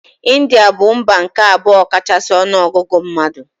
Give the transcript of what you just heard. India bụ mba nke abụọ kachasị ọnụ ọgụgụ mmadụ.